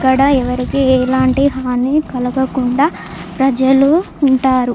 ఇక్కడ ఎవరికి ఎలాంటి హాని కలగ కుండా ప్రజలు ఉంటారు.